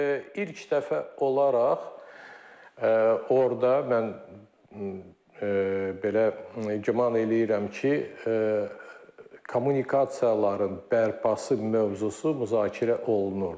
İlk dəfə olaraq orda mən belə güman eləyirəm ki, kommunikasiyaların bərpası mövzusu müzakirə olunurdu.